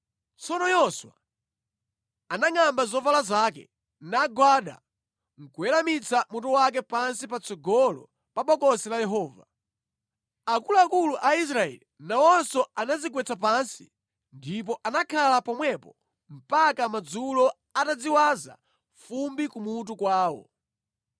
Tsono Yoswa anangʼamba zovala zake nagwada nʼkuweramitsa mutu wake pansi patsogolo pa Bokosi la Yehova. Akuluakulu a Israeli nawonso anadzigwetsa pansi ndipo anakhala pomwepo mpaka madzulo atadziwaza fumbi kumutu kwawo.